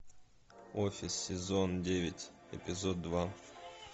офис сезон девять эпизод два